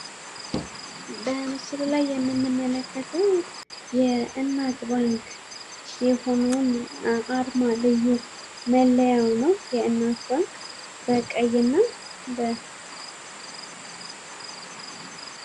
በምስሉ ላይ የምንመለከተው የእናት ባንክ የሆነዉን አርማ፤ ልዩ መለያዉ ነው ፤ በቀይ ነው።